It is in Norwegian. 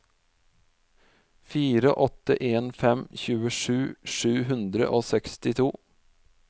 fire åtte en fem tjuesju sju hundre og sekstito